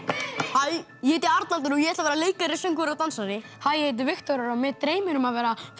hæ ég heiti Arnaldur og ég ætla að vera leikari söngvari og dansari hæ ég heiti Viktor og mig dreymir um að vera